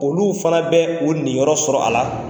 Olu fana bɛ u ninyɔrɔ sɔrɔ a la.